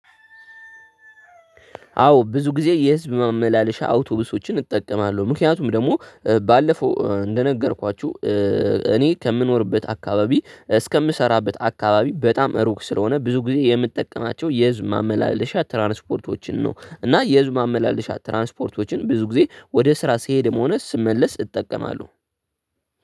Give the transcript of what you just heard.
አዎ ብዙ ጊዜ የህዝብ ማመላለሻዎችን አውቶቢሶችን እጠቀማለሁ ምክንያቱም ደግሞ ባለፍ እንደ ነገርኳቹህ። እኔ ከምኖርበት አካባቢ እስከምሰራበት አካባቢ በጣም ሩቅ ስለሆነ ብዙ ጊዜ የምጠቀማቸው የህዝብ ትራንስፖርቶችን ነው እና የህዝብ መመላለሽ ትራንስፖርቶችን ነው። እና የህዝብ